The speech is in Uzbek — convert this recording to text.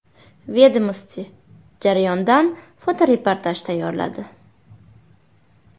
“Vedomosti” jarayondan fotoreportaj tayyorladi .